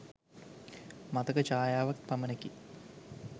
මතක ඡායාවක් පමණකි.